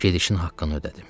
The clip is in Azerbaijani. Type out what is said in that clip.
Gedişin haqqını ödədim.